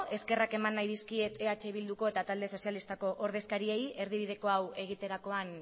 eskerrak eman nahi dizkiet eh bilduko eta talde sozialistako ordezkariei erdibide hau egoterakoan